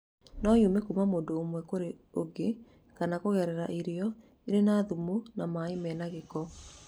No yume kuma mũndũ ũmwe kũrĩ ũngĩ kana kũngerera irio irĩ na thumu na maĩ mena ngĩko.